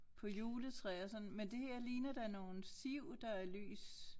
På juletræer sådan men det her ligner nogle siv der er lys